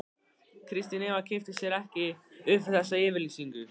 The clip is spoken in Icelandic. Kristín Eva kippti sér ekki upp við þessa yfirlýsingu.